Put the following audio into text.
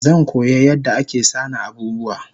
Zankoya yadda ake sana abubuwa